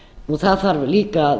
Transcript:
það þarf líka að